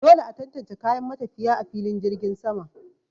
Dole a tantance kayan matafiya a filin jirgin sama.